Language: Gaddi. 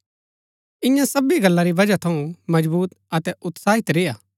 इन्या सबी गल्ला री बजह थऊँ मजबुत अतै उत्साहित रेय्आ